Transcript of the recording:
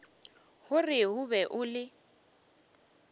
gore o be o le